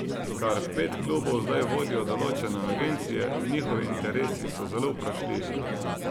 Kar pet klubov zdaj vodijo določene agencije, njihovi interesi so zelo vprašljivi.